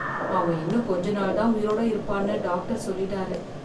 அவன் இன்னும் கொஞ்ச நாள் தான் உயிரோட இருப்பான்னு டாக்டர் சொல்லிட்டாரு.